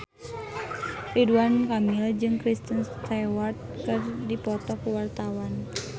Ridwan Kamil jeung Kristen Stewart keur dipoto ku wartawan